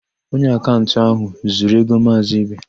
Onye akaụntantị áhụ̀ zuru égo Maazị Ibe.